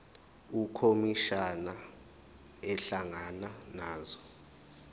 ukhomishana ehlangana nazo